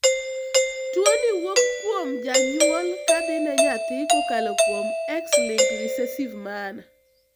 tuo ni wuok kwom janyuol kadhi ne nyathi kokalo kuom xlinked recessive manner